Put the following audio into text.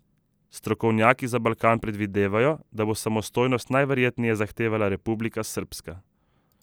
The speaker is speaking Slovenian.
Strokovnjaki za Balkan predvidevajo, da bo samostojnost najverjetneje zahtevala Republika srbska.